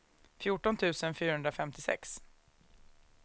fjorton tusen fyrahundrafemtiosex